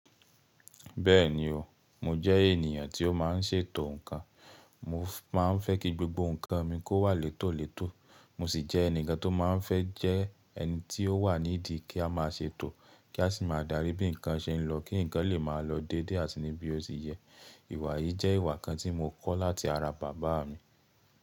Bẹ́ẹ̀ni o, mo jẹ́ ènìyàn tí ó má n ṣètò ǹkan. Mo má a n fẹ́ kí gbogbo ǹkan mi kó wà létòlétò. Mo si jẹ́ ẹni kan tó má a n fẹ́ jẹ ẹni tí ó wà nídìí kí a má a ṣètò kí a si má a darí bí ǹkan ṣe n lọ kí ǹkan lè má a lọ dédé àti ní bí ó ti yẹ. Ìwà yìí jẹ́ ìwà kan tí mo kọ́ láti ara bàbá mi.